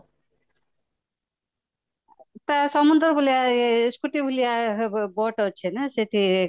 ସମୁନ୍ଦ୍ର ବୁଲିବା scooty ବୁଲିବା boat ଅଛିନା ସେଠି